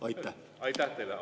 Aitäh teile!